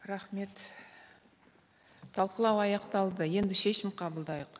рахмет талқылау аяқталды енді шешім қабылдайық